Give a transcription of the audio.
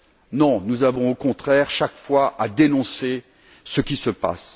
Non, nous devons au contraire, chaque fois, dénoncer ce qui se passe.